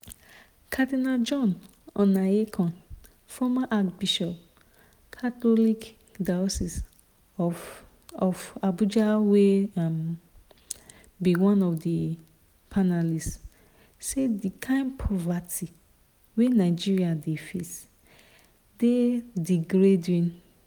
cardinal john onaiyekan former archbishop catholic diocese of of abuja wey um be one of di panelists say di kain poverty wey nigeria dey face dey 'degrading'.